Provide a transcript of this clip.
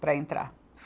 para entrar.